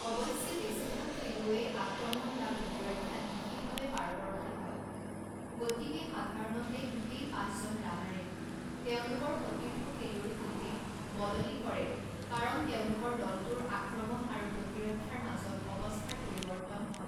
অৱশ্যে বেছিভাগ খেলুৱৈয়েই আক্ৰমণ বা প্ৰতিৰক্ষাত বিশেষভাৱে পাৰদৰ্শী হয়, গতিকে সাধাৰণতে গোটেই পাঁচজন ৰানাৰে তেওঁলোকৰ সতীৰ্থ খেলুৱৈৰ সৈতে বদলি কৰে কাৰণ তেওঁলোকৰ দলটোৰ আক্ৰমণ আৰু প্ৰতিৰক্ষাৰ মাজত অৱস্থাৰ পৰিৱৰ্তন হয়।